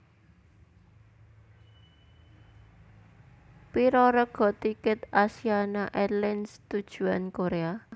Piro rega tiket Asiana Airlines tujuan Korea